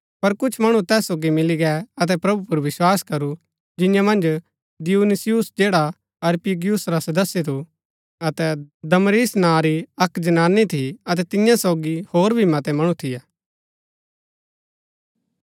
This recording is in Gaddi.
पर कुछ मणु तैस सोगी मिली गै अतै प्रभु पुर विस्वास करू जिंआं मन्ज दियुनुसियुस जैडा अरियुपगुस रा सदस्य थु अतै दमरिस नां री अक्क जनानी थी अतै तियां सोगी होर भी मतै मणु थियै